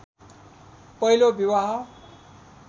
पहिलो बिवाह